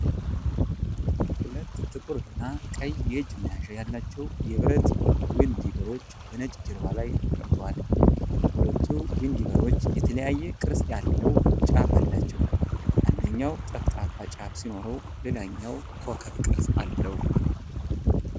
ሁለት ጥቁር እና ቀይ የእጅ መያዣ ያላቸው የብረት ዊንዲቨሮች በነጭ ጀርባ ላይ ተቀምጠዋል። ሁለቱም ዊንዲቨሮች የተለያየ ቅርጽ ያለው ጫፍ አላቸው። አንደኛው ጠፍጣፋ ጫፍ ሲኖረው ሌላኛው ኮከብ ቅርጽ አለው።